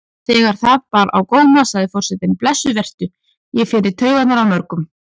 Þegar það bar á góma sagði forsetinn: Blessuð vertu, ég fer í taugarnar á mörgum.